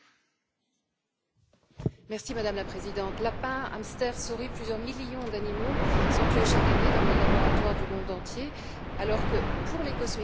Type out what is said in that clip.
Madame la Présidente, lapins, hamsters, souris, plusieurs millions d'animaux sont tués chaque année dans les laboratoires du monde entier alors que, pour les cosmétiques, aujourd'hui, plus rien ne le justifie.